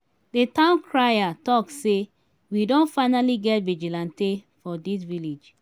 the town crier talk say we don finally get vigilante for dis village